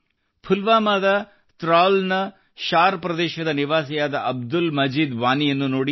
ಪುಲ್ವಾಮಾದ ತ್ರಾಲ್ ನ ಶಾರ್ ಪ್ರದೇಶದ ನಿವಾಸಿಯಾದ ಅಬ್ದುಲ್ ಮಜೀದ್ ವಾನಿಯನ್ನು ನೋಡಿ